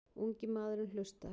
Ungi maðurinn hlustar.